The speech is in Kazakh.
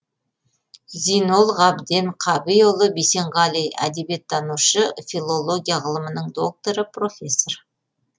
зинол ғабден қабиұлы бисенғали әдебиеттанушы филология ғылымының докторы профессор